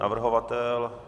Navrhovatel?